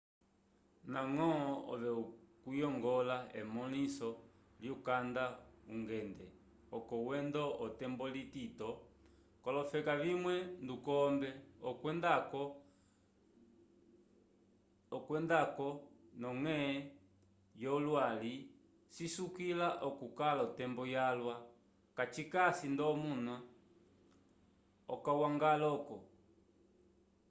ndañgo ove kuyongola emõliso lyukanda ungende oco wendo otembo itito k'olofeka vimwe ndukombe okwenda-ko nd'ondonge yowali cisukila okukala otembo yalwa kacikasi nd'omunu okañgwãlañgo